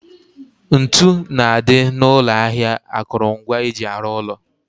Ntu na-adị n'ụlọ ahịa akụrụngwa eji arụ ụlọ